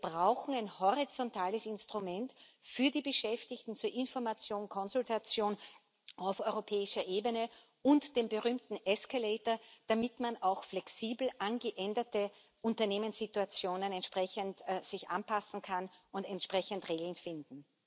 Wir brauchen ein horizontales Instrument für die Beschäftigten, zur Information und Konsultation auf europäischer Ebene, und den berühmten escalator damit man sich auch flexibel an geänderte Unternehmenssituationen entsprechend anpassen und entsprechend Regeln finden